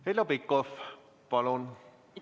Heljo Pikhof, palun!